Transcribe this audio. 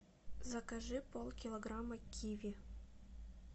закажи полкилограмма киви